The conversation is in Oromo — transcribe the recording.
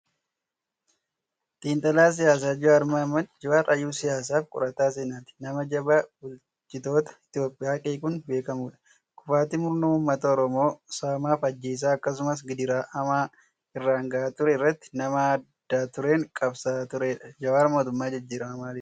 Xiinxalaa siyaasaa Jawaar Mohaammad. Jawaar hayyuu siyaasaa fi qorataa seenaati. Nama jabaa bulchitoota Itoophiyaa qeequun beekamudha. Kufaatii murna uummata Oromoo saamaa fi ajjeesaa akkasumas gidiraa hamaa irraan gahaa ture irratti nama adda dureen qabsaa'aa turedha. Jawaar mootummaa jijjiiramaa maaliif jibbe?